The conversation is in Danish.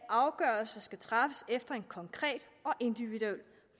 afgørelser skal træffes efter en konkret og individuel